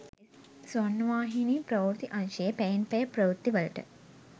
ස්වර්ණවාහිනී ප්‍රවෘත්ති අංශයේ පැයෙන් පැය ප්‍රවෘත්තිවලට